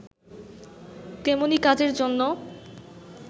তেমনি কাজের জন্য